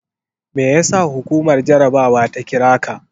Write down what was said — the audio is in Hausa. Me yasa hukumar jarabawa ta kira ka?